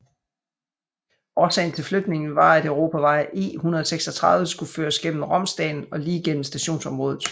Årsagen til flytningen var at Europavej E136 skulle føres gennem Romsdalen og lige gennem stationsområdet